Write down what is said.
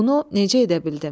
Bunu necə edə bildim?